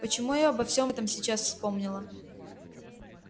почему я обо всём этом сейчас вспомнила